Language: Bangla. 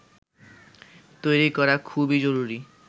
তৈরি করা খুবই জরুরি